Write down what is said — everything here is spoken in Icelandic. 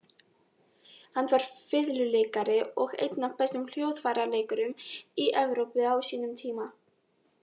Hann var fiðluleikari og einn af bestu hljóðfæraleikurum í Evrópu á sínum tíma.